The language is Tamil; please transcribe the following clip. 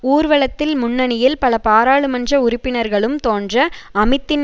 ஊர்வலத்தில் முன்னணியில் பல பாராளுமன்ற உறுப்பினர்களும் தோன்ற அமித்தின்